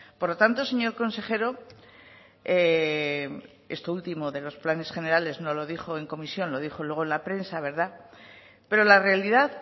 por lo tanto señor consejero esto último de los planes generales no lo dijo en comisión lo dijo en la prensa verdad pero la realidad